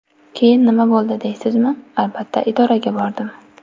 Keyin nima bo‘ldi deysizmi, albatta, idoraga bordim.